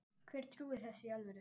Hver trúir þessu í alvöru?